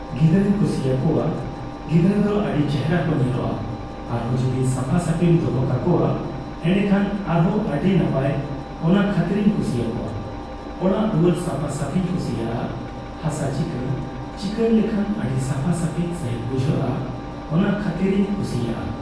ᱜᱤᱫᱽᱨᱟᱹᱧ ᱠᱩᱥᱤᱭᱟᱠᱚᱣᱟ, ᱜᱤᱫᱽᱨᱟᱹ ᱫᱚ ᱟᱹᱰᱤ ᱪᱮᱦᱨᱟ ᱠᱚ ᱧᱮᱞᱚᱜᱼᱟ᱾ ᱟᱨᱦᱚᱸ ᱡᱩᱫᱤ ᱥᱟᱯᱷᱟᱼᱥᱟᱯᱷᱤᱢ ᱫᱚᱦᱚ ᱠᱟᱠᱚᱣᱟ ᱮᱸᱰᱮᱠᱷᱟᱱ ᱟᱨᱦᱚᱸ ᱟᱹᱰᱤ ᱱᱟᱯᱟᱭ, ᱚᱱᱟ ᱠᱷᱟᱹᱛᱤᱨᱤᱧ ᱠᱩᱥᱤᱭᱟᱚᱣᱟ᱾ ᱚᱲᱟᱜᱼᱫᱩᱣᱟᱹᱨ ᱥᱟᱯᱷᱟᱥᱟᱯᱷᱤᱧ ᱠᱩᱥᱤᱭᱟᱜᱼᱟ, ᱦᱟᱥᱟ ᱪᱤᱸᱠᱟᱹᱬ, ᱪᱤᱸᱠᱟᱹᱬ ᱞᱮᱠᱷᱟᱱ ᱟᱹᱰᱤ ᱥᱟᱯᱷᱟ ᱥᱟᱺᱦᱤᱡ ᱵᱩᱡᱷᱟᱹᱜᱼᱟ᱾ ᱚᱱᱟ ᱠᱷᱟᱹᱛᱤᱨᱤᱧ ᱠᱩᱥᱤᱭᱟᱜᱼᱟ᱾